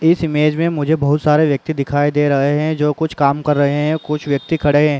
इस इमेज में मुझे बहोत सारे व्यक्ति दिखाई दे रहे हैं जो कुछ काम कर रहे हैं। कुछ व्यक्ति खड़े हैं।